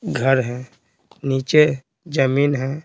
घर है नीचे जमीन है।